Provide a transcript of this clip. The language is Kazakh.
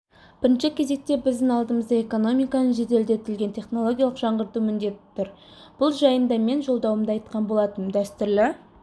бірінші кезекте біздің алдымызда экономиканы жеделдетілген технологиялық жаңғырту міндеті тұр бұл жайындамен жолдауымда айтқан болатынмын дәстүрлі